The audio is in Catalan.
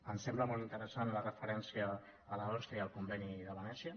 ens sembla molt interessant la referència a l’osce i al conveni de venècia